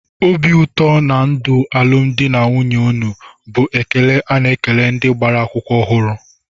"Obi ụtọ na ndụ alụmdi na nwunye unu" bụ ekele a na-ekele ndị gbara akwụkwọ ọhụrụ